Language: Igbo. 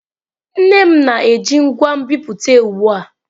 Nne m na-eji ngwa nbipute ugbu a.